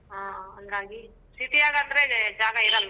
ಹ್ಮ್ ಹಂಗಾಗಿ city ಯಾಗಾದ್ರೆ ಜಾಗ ಇರಲ್ಲ.